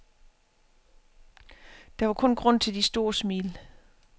Der var kun grund til de store smil.